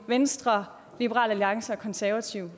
venstre liberal alliance og konservative